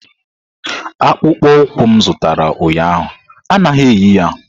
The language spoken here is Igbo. Akpụkpọ ụkwụ m zụtara ụnyahụ anaghị eyi ya!